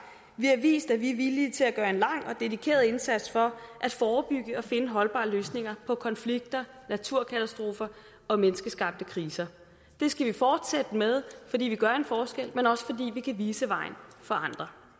vi har vist at vi er villige til at gøre en lang og dedikeret indsats for at forebygge og finde holdbare løsninger på konflikter naturkatastrofer og menneskeskabte kriser det skal vi fortsætte med fordi vi gør en forskel men også fordi vi kan vise vejen for andre